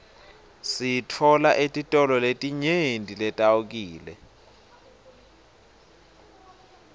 siyitfola etitolo letinyenti leteawkile